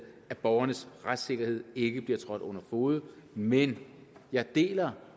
at borgernes retssikkerhed ikke bliver trådt under fode men jeg deler